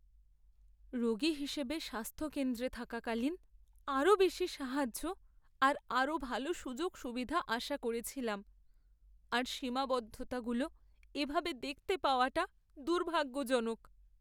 রোগী হিসেবে স্বাস্থ্যকেন্দ্রে থাকাকালীন আরও বেশি সাহায্য আর আরও ভালো সুযোগসুবিধা আশা করেছিলাম, আর সীমাবদ্ধতাগুলো এভাবে দেখতে পাওয়াটা দুর্ভাগ্যজনক।